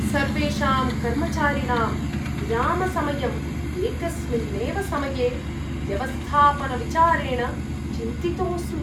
सर्वेषां कर्मचारिणां विरामसमयम् एकस्मिन्नेव समये व्यवस्थापनविचारेण चिन्तितोऽस्मि ।